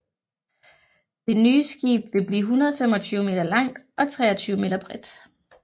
Det nye skib vil blive 125 meter langt og 23 meter bredt